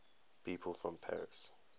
people from paris